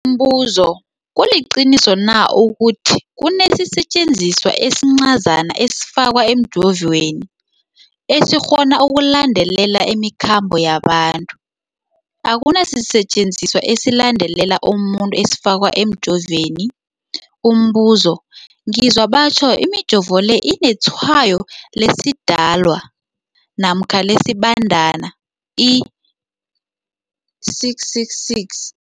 Umbuzo, kuliqiniso na ukuthi kunesisetjenziswa esincazana esifakwa emijovweni, esikghona ukulandelela imikhambo yabantu? Akuna sisetjenziswa esilandelela umuntu esifakwe emijoveni. Umbuzo, ngizwa batjho imijovo le inetshayo lesiDalwa namkha lesiBandana i-666.